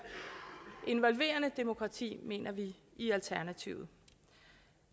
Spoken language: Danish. involverende demokrati mener vi i alternativet